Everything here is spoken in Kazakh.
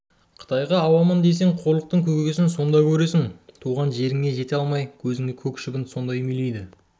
қытайға ауамын дейсің қорлықтың көкесін сонда көресің туған жеріңе жете алмай көзіңе көк шыбын сонда үймелейді